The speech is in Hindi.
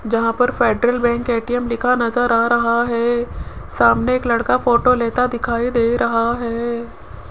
जहां पर फेडरल बैंक ए_टी_एम लिखा नजर आ रहा है सामने एक लड़का फोटो लेता दिखाई दे रहा है